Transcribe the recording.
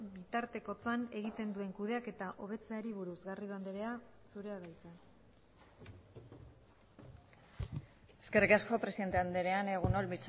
bitartekotzan egiten duen kudeaketa hobetzeari buruz garrido andrea zurea da hitza eskerrik asko presidente andrea egun on